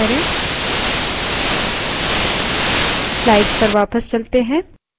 hyphen n5 enter करें